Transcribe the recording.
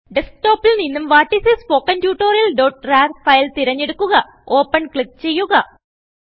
ഡെസ്ക്ടോപിൽ നിന്നും what is a spoken Tutorialrarഫയൽ തിരഞ്ഞെടുക്കുകopenക്ലിക്ക് ചെയ്യുക